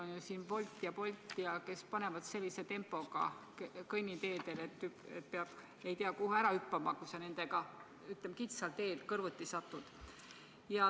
Meil on siin ju Wolt ja Bolt, kes panevad sellise tempoga kõnniteedel, et pead ei tea kuhu hüppama, kui sa nendega kitsal teel kõrvuti satud.